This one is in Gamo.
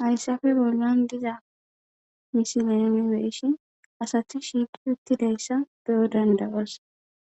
Hayssafe bollan diza misilemi beeshi asati shiiqi uttidayssa beyo dandawas